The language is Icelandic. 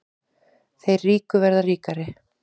Þeir ríku verða ríkari